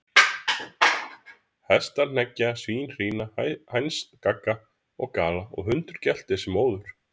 Hestar hneggja, svín hrína, hænsn gagga og gala, og hundur geltir sem óður.